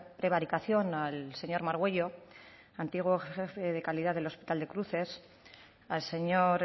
prevaricación al señor margüello antiguo jefe de calidad del hospital de cruces al señor